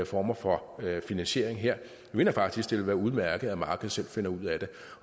former for finansiering her jeg mener faktisk at det vil være udmærket at markedet selv finder ud af det